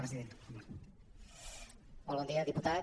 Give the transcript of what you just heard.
molt bon dia diputat